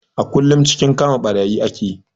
A kullum cikin kama ɓarayi ake